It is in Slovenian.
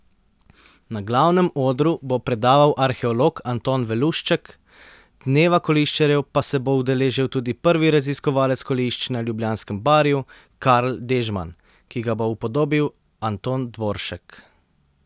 Na glavnem odru bo predaval arheolog Anton Velušček, dneva koliščarjev pa se bo udeležil tudi prvi raziskovalec kolišč na Ljubljanskem barju Karl Dežman, ki ga bo upodobil Anton Dvoršek.